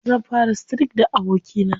Zan fara streak da abokina.